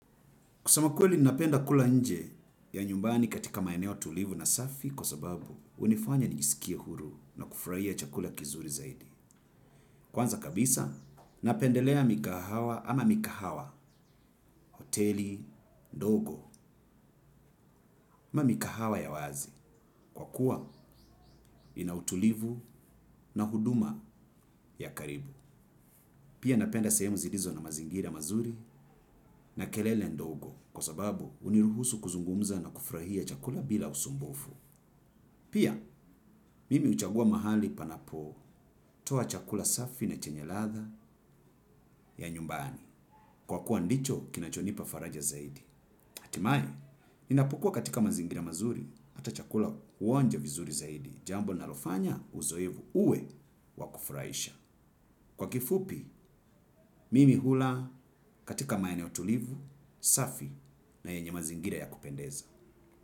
Kusema kweli napenda kula nje ya nyumbani katika maeneo tulivu na safi kwa sababu unifanya nijisikie huru na kufurahia chakula kizuri zaidi. Kwanza kabisa napendelea mikahawa ama mikahawa, hoteli, ndogo, ma mikahawa ya wazi kwa kuwa inautulivu na huduma ya karibu. Pia napenda sehemu zilizo na mazingira mazuri na kelele ndogo kwa sababu uniruhusu kuzungumza na kufrahia chakula bila usumbufu. Pia, mimi uchagua mahali panapo, toa chakula safi na chenye latha ya nyumbani, kwa kuwa ndicho kinachonipa faraja zaidi. Hatimaye, ninapukua katika mazingira mazuri, ata chakula uonja vizuri zaidi, jambo nalofanya uzoevu uwe wakufuraisha. Kwa kifupi, mimi hula katika maeneo tulivu, safi na yenye mazingira ya kupendeza.